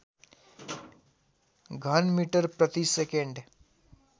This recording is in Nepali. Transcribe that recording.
घनमिटर प्रति सेकेन्ड